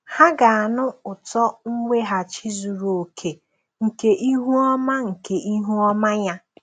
Ha ga-anụ ụtọ mweghachi zuru oke nke ihu ọma nke ihu ọma ya.